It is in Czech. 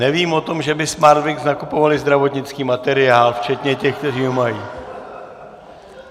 Nevím o tom, že by Smartwings nakupovaly zdravotnický materiál včetně těch, kteří ho mají.